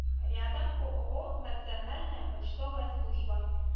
рядом ооо национальная почтовая служба